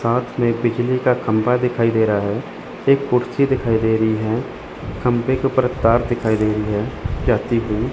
साथ में बिजली का खंभा दिखाई दे रहा है एक कुर्सी दिखाई दे रही है खंभे के ऊपर एक तार दिखाई दे रही है जाती हुई।